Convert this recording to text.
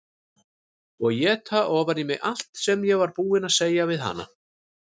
Og éta ofan í mig allt sem ég var búin að segja við hana.